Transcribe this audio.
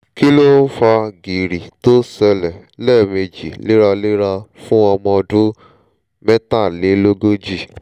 kí ló ń fa gìrì tó ́ ṣẹ̀lẹ̀ lẹ́ẹ̀mejì léraléra fún ọmọ ọdún mẹ́tàlélógójì?